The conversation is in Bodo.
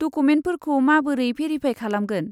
डकुमेन्टफोरखौ माबोरै भेरिफाय खालामगोन?